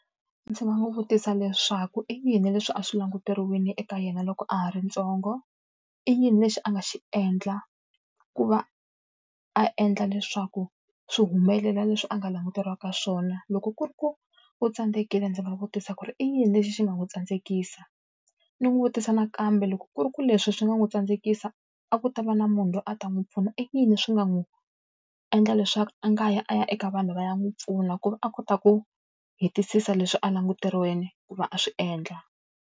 Ndzi nga n'wi vutisa leswaku i yini leswi a swi languteriwile eka yena loko a ha ri ntsongo? I yini lexi a nga xi endla ku va a endla leswaku swi humelela leswi a nga languteriwaka swona? Loko ku ri ku u tsandzekile ndzi va vutisa ku ri i yini lexi xi nga n'wi tsandzekisa? Ni n'wi vutisa nakambe loko ku ri ku leswi swi nga n'wi tsandzekisa a ku ta va na munhu loyi a ta n'wi pfuna, i yini swi nga n'wi endla leswaku a nga yi a ya eka vanhu va ya n'wi pfuna ku va a kota ku hetisisa leswi a languteriweke ku va a swi endla?